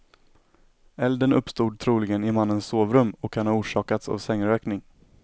Elden uppstod troligen i mannens sovrum och kan ha orsakats av sängrökning.